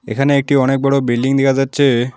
এখানে একটি অনেক বড়ো বিল্ডিং দেখা যাচ্ছে।